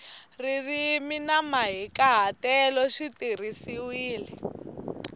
ririmi na mahikahatelo swi tirhisiwile